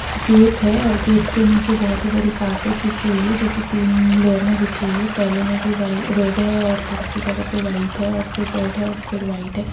Gate है और gate के निचे बहुत ही बड़ी कारपेट बिछी हुई है जो की तीन लेयर में बिछी हुई है पहले में भी वही रेड है और थोड़ी सी जगह पे वाइट है और फिर रेड है और फिर वाइट है।